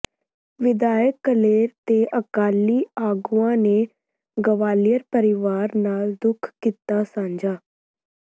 ਵਿਧਾਇਕ ਕਲੇਰ ਤੇ ਅਕਾਲੀ ਆਗੂਆਂ ਨੇ ਗਵਾਲੀਅਰ ਪਰਿਵਾਰ ਨਾਲ ਦੁੱਖ ਕੀਤਾ ਸਾਂਝਾ